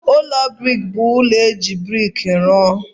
Ụlọ brik bụ ụlọ e ji brik rụọ.